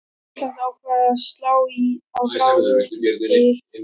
Forseti Íslands ákveður að slá á þráðinn til Georgs yngri.